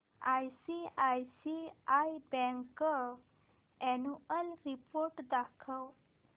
ICICI bank annual report दाखव